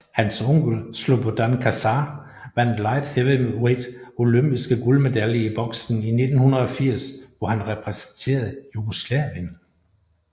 Hans onkel Slobodan Kačar vandt Light Heavyweight Olympiske guldmedalje i boksning i 1980 hvor han repræsenterede Jugoslavien